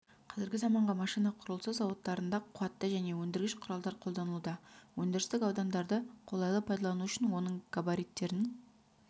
қазіргі заманғы машина құрылысы зауыттарында қуатты және өндіргіш құралдар қолданылуда өндірістік аудандарды қолайлы пайдалану үшін оның габариттерін